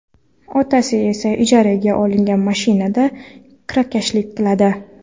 Otasi esa ijaraga olingan mashinada kirakashlik qiladi.